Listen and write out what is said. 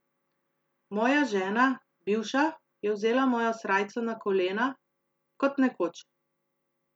Moja žena, bivša, je vzela mojo srajco na kolena, kot nekoč.